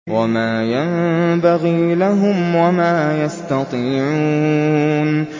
وَمَا يَنبَغِي لَهُمْ وَمَا يَسْتَطِيعُونَ